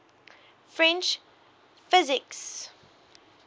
french physicists